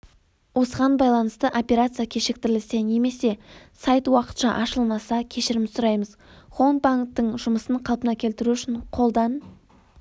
осыған байланысты операция кешіктірілсе немесе сайт уақытша ашылмаса кешірім сұраймыз хоумбанктің жұмысын қалпына келтіру үшін қолдан